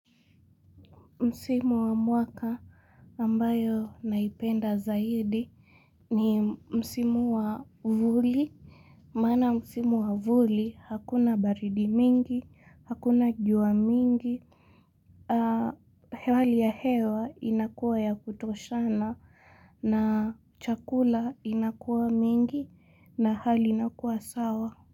Msimu wa mwaka ambayo naipenda zaidi ni Msimu wa vuli. Maana Msimu wa vuli, hakuna baridi mingi, hakuna jua mingi. Hewali ya hewa inakuwa ya kutoshana na chakula inakuwa mingi na hali inakuwa sawa.